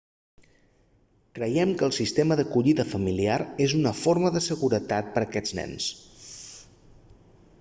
creiem que el sistema d'acollida familiar és una forma de seguretat per a aquests nens